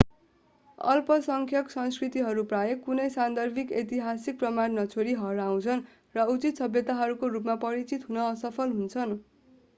अल्पसङ्ख्यक संस्कृतिहरू प्राय कुनै सान्दर्भिक ऐतिहासिक प्रमाण नछोडी हराउँछन् र उचित सभ्यताहरूको रूपमा परिचित हुन असफल हुन्छन्